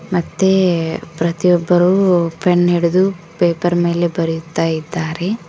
ಮತ್ತೆ ಪ್ರತಿ ಒಬ್ಬರು ಪೆನ್ ಹಿಡಿದು ಪೇಪರ್ ಮೇಲೆ ಬರೆಯುತಾ ಇದ್ದಾರೆ.